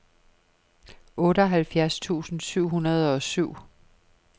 otteoghalvfjerds tusind syv hundrede og syv